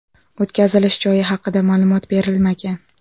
O‘tkazilish joyi haqida ma’lumot berilmagan.